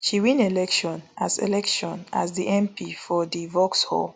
she win election as election as di mp for di vauxhall